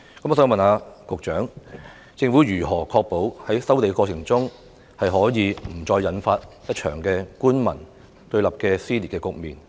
我想問局長，政府如何確保在收地過程中，不會再引發一場官民對立的撕裂局面？